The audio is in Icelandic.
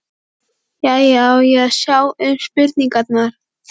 Jæja, á ég að sjá um spurningarnar?